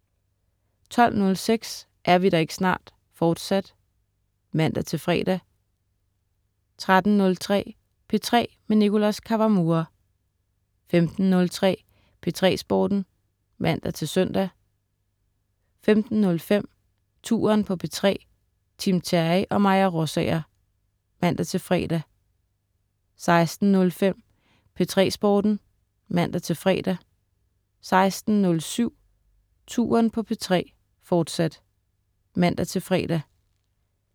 12.06 Er vi der ikke snart? Fortsat (man-fre) 13.03 P3 med Nicholas Kawamura 15.03 P3 Sporten (man-søn) 15.05 Touren på P3. Tim Terry og Maja Rosager (man-fre) 16.05 P3 Sporten (man-fre) 16.07 Touren på P3, fortsat (man-fre)